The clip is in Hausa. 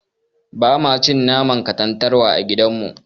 Bama cin naman katantanwa a gidan mu.